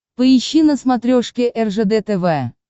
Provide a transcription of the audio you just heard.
поищи на смотрешке ржд тв